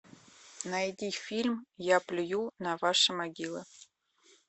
найди фильм я плюю на ваши могилы